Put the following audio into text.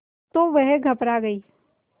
तो वह घबरा गई